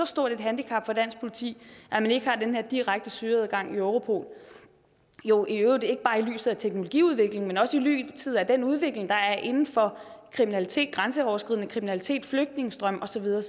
stort et handicap for dansk politi at man ikke har den her direkte søgeadgang i europol jo i øvrigt ikke bare i lyset af teknologiudviklingen men også i lyset af den udvikling der er inden for kriminalitet grænseoverskridende kriminalitet flygtningestrømme og så videre